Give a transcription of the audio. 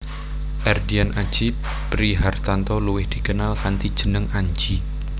Erdian Aji Prihartanto luwih dikenal kanthi jeneng Anji